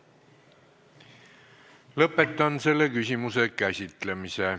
Lõpetan selle küsimuse käsitlemise.